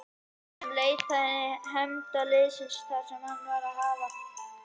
Hann leitaði hefnda og liðsinnis þar sem það var að hafa.